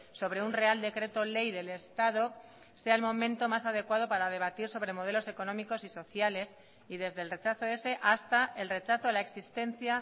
sobre un real decreto ley del estado sea el momento más adecuado para debatir sobre modelos económicos y sociales y desde el rechazo ese hasta el rechazo a la existencia